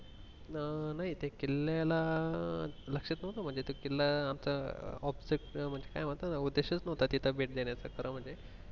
अं त्या किल्लायला लक्षात नव्हतं म्हणजे किल्ला असं object काय म्हणतात ना उद्देश च नव्हता तिथे भेट देण्याचं खर म्हणजे.